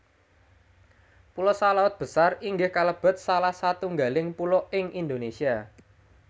Pulo Salaut Besar inggih kalebet salah satunggaling pulo ing Indonesia